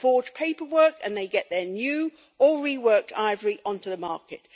They forge paperwork and they get their new or reworked ivory onto the market.